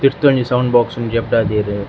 ತಿರ್ತ್ ಒಂಜಿ sound box ನು ಜಪ್ಟಾದೆರ್.